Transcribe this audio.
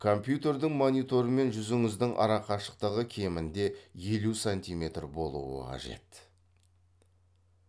компьютердің мониторы мен жүзіңіздің арақашықтығы кемінде елу сантиметр болуы қажет